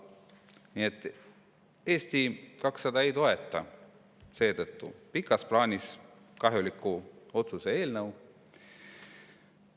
Seetõttu Eesti 200 ei toeta seda pikas plaanis kahjuliku otsuse eelnõu.